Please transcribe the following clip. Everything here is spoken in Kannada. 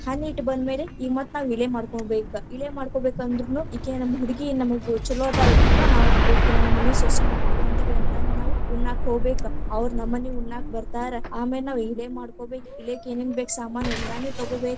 ಹಣ್ಣ್ ಇಟ್ಟ್ ಬಂದಮೇಲೆ ಇಗ ಮತ್ತ ಇಳೆ ಮಾಡ್ಕೊಬೇಕ್, ಇಳೆ ಮಾಡ್ಕೊಬೇಕಂದ್ರುನು ಇಕೆ ನಮ್ ಹುಡುಗಿ ನಮಗ್‌ ಈಕಿ ಛಲೋ ಅದಾಳ್ರೀಪ್ಪಾ ನಾವು ಇಕಿನ್ನ ನಮ್ಮ ಮನಿ ಸೊಸಿ ಮಾಡ್ಕೊಂಮತೀವಿ ಅಂತಂದ, ನಾವ್‌ ಉಣ್ಣಾಕ ಹೋಗಬೇಕ, ಅವ್ರ ನಮ್ಮನೀಗ ಉಣ್ಣಾಕ ಬರತಾರ, ಆಮೇಲ್‌ ನಾವ್‌ ಇಳೆ ಮಾಡ್ಕೊಬೇಕ್, ಇಳೆಕ್ಕ ಏನೇನಬೇಕ ಸಾಮಾನ ಎಲ್ಲಾನು ತಗೋಬೇಕ.